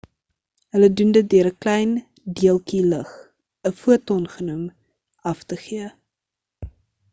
hulle doen dit deur ‘n klein deeltjie lig,’ ‘n foton genoem” af te gee